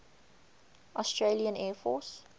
australian air force